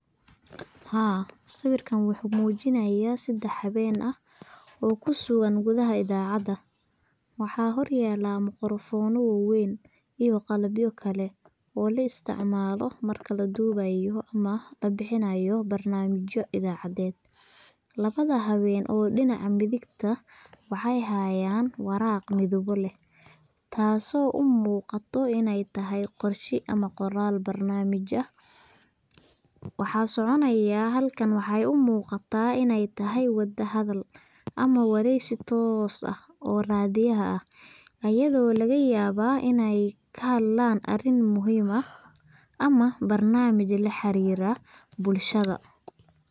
Haa sawirkaan waxuu mujinayaa sadax hawen ah oo kusugan gudaha ida, acada wxaa hor yalaa makrafono waawen iyo qalabyo kale oo la isticmalo marka ladubayo ama labixinayo barnamijo idacaded. Labada hawen oo dinaca midigta waxey hayan waraq midabo leh taaso u muqato iney tahay qorshe ama qoral barnamij ah waxaa so conayaa halkan waxey uu muqataa iney tahay hadal ama wareysi toos ah oo radiyaha ah ayado laga yabaa iney ka hadlaan arin muhiim ah ama barnamij la xarira bulshada.